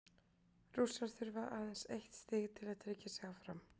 Rússar þurfa aðeins eitt stig til að tryggja sig áfram.